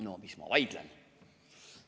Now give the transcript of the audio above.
No mis ma vaidlen?